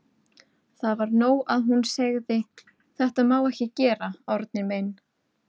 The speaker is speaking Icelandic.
Það var nóg að hún segði: Þetta má ekki gera, Árni minn.